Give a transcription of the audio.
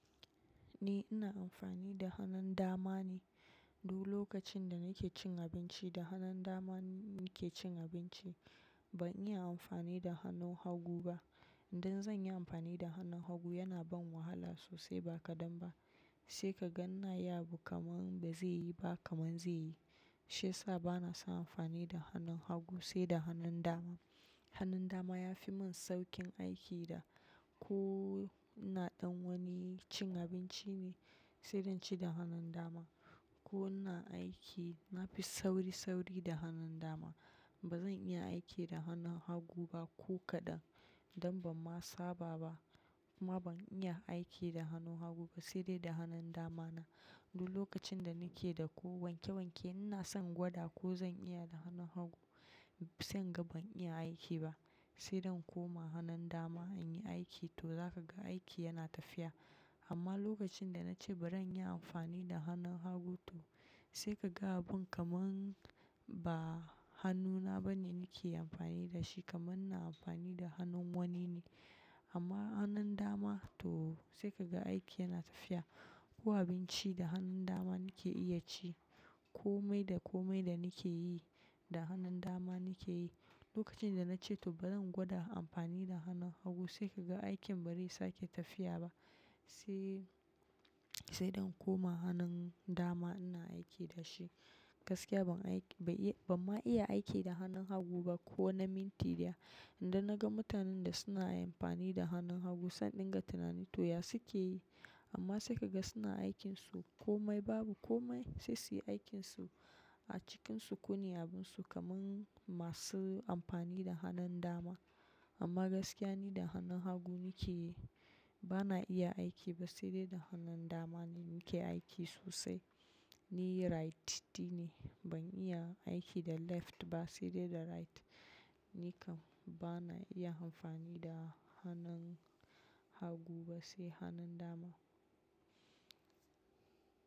Ni ina amfani da hannun dama ne. Duk lokacin da nake cin abinci, da hannun dama nake cin abinci. Ban iya amfani da hannun hagu ba. Idan zan yi amfani da hannun hagu, yana ban wahala sosai ba kadan ba. Sai ka ga ina yi abu kamar ba zai yi ba kamar zai yi. Shiyasa bana son amfani da hannun hagu sai da hannun dama. Hannun dama ya fi mun saukin aiki da ko ina ɗan wani cin abinci ne, sai dai in ci da hannun dama. Ko ina aiki, na fi sauri-sauri da hannun dama. Ba zan iya aiki da hannun hagu ba ko kaɗan. Don ban ma saba ba kuma ban iya aiki da hannun hagu ba sai dai da hannun dama na. Duk lokacin da nake da ko wanke-wanke ina son in gwada ko zan iya da hannun hagu, sai in ga ban iya aiki ba. Sai dai in koma hannun dama in yi aiki to za ka ga aiki yana tafiya. Amma lokacin da na ce bari in yi amfani da hannun hagu to sai ka ga abun kaman ba hannuna ba ne nake amfani da shi kaman in na amfani da hannun wani ne. Amma hannun dama to sai ka ga aiki yana tafiya. Ko abinci da hannun dama nake iya ci. Komai da komai da nake yi, da hannun dama nake yi. Lokacin da na ce to bari in gwada amfani da hannun hagu sai ka ga aikin ba zai sake tafiya ba. Sai, sai zan koma hannun dama ina aiki da shi. Gaskiya ban aiki, bai iya, ban ma iya aiki da hannun hagu ba ko na mintiya. Inda na ga mutanen da suna amfani da hannun hagu, sanda in dinga tunanin to ya suke yi. Amma sai ka ga suna aikinsu komai babu komai. Sai su yi aikinsu acikin sukuni abunsu kaman masu amfani da hannun dama. Amma gaskiya ni da hannun hagu nake yi, ba na iya aiki ba sai dai da hannun dama ne nake aiki sosai. Ni righty ne, ban iya aiki da left ba sai dai da right. Ni kam ba na iya amfani da hannun hagu ba sai hannun dama.